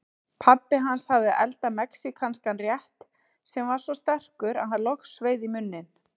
Pabbi hans hafði eldað mexíkanskan rétt sem var svo sterkur að hann logsveið í munninn.